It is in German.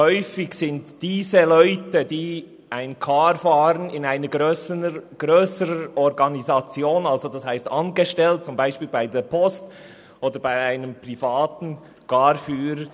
Häufig sind die Personen, die einen Car fahren, in einer grösseren Organisation angestellt, so zum Beispiel bei der Post oder bei einem privaten Car-Unternehmen.